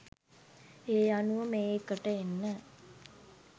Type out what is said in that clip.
එ අනුව මේ එකට එන්න